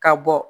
Ka bɔ